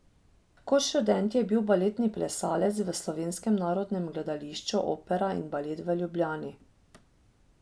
Kot študent je bil baletni plesalec v Slovenskem narodnem gledališču opera in balet v Ljubljani.